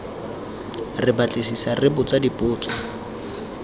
re batlisisa re botsa dipotso